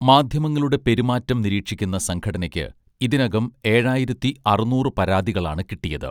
മാധ്യമങ്ങളുടെ പെരുമാറ്റം നിരീക്ഷിക്കുന്ന സംഘടനയ്ക്ക് ഇതിനകം ഏഴായിരത്തി അറുന്നൂറ് പരാതികളാണ് കിട്ടിയത്